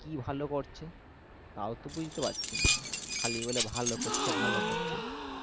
কি ভালো করছে তাওতো বুজতে পারছি না খালি বলে ভালো করছে ভালো করছে